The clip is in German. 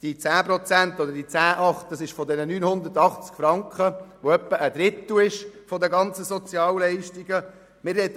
Entschuldigung, die 10 Prozent beziehen sich auf die 980 Franken, was circa einem Drittel der ganzen Sozialhilfeleistungen entspricht.